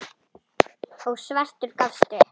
og svartur gafst upp.